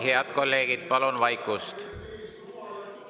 Head kolleegid, palun vaikust!